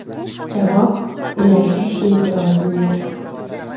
Javob: Ularga e’tirozim yo‘q.